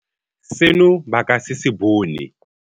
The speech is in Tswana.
Seno ba ka se se bone.